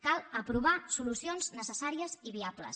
cal aprovar solucions necessàries i viables